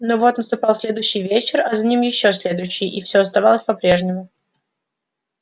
но вот наступал следующий вечер а за ним ещё следующий и всё оставалось по-прежнему